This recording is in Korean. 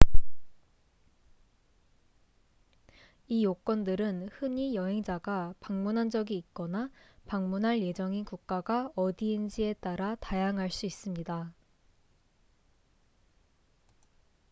이 요건들은 흔히 여행자가 방문한 적이 있거나 방문할 예정인 국가가 어디인지에 따라 다양할 수 있습니다